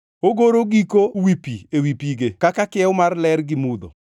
Ogoro giko wi piny ewi pige kaka kiew mar ler gi mudho.